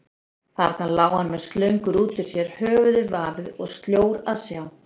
Þarna lá hann með slöngur út úr sér, höfuðið vafið og sljór að sjá.